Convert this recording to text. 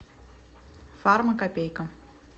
фармакопейка